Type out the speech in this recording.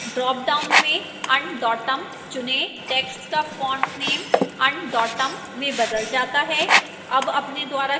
dropdown में undotum चुनें text का font name undotum में बदल जाता है